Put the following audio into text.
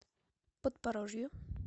подпорожью